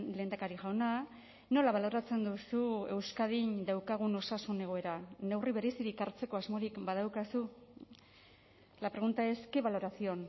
lehendakari jauna nola baloratzen duzu euskadin daukagun osasun egoera neurri berezirik hartzeko asmorik badaukazu la pregunta es qué valoración